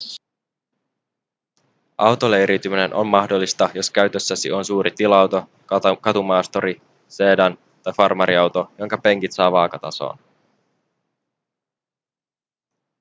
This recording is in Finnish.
autoleiriytyminen on mahdollista jos käytössäsi on suuri tila-auto katumaasturi sedan tai farmariauto jonka penkit saa vaakatasoon